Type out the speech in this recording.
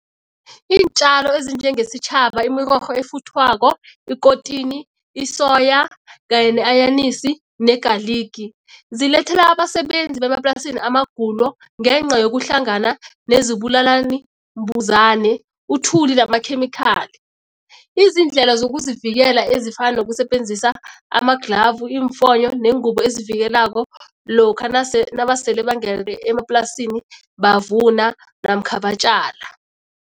Iintjalo ezinjenge sitjhaba, imirorho efuthwako, ikotini, isoya kanye ne-anyanisi ne-garlic zilethela abasebenzi bemaplasini amagulo ngenca yokuhlangana nezibulalani mbuzani, uthuli ngamakhemikhali. Izindlela zokuzivikela ezifana nokusebenzisa amadlhavu, iimfonyo neengubo ezivikelako lokha nabasele bangene emaplasini bavuna namkha batjala.